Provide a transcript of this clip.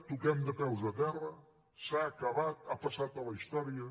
toquem de peus a terra s’ha acabat ha passat a la història